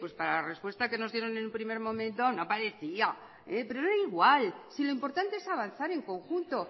pues para la respuesta que nos dieron en un primer momento no parecía pero era igual si lo importante es avanzar en conjunto